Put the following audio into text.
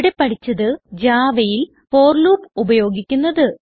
ഇവിടെ പഠിച്ചത് Javaയിൽ ഫോർ ലൂപ്പ് ഉപയോഗിക്കുന്നത്